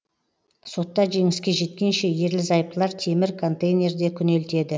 сотта жеңіске жеткенше ерлі зайыптылар темір контейнерде күнелтеді